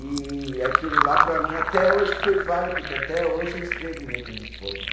E aquilo lá, para mim, até hoje foi válido, que até hoje eu escrevo em letra de forma.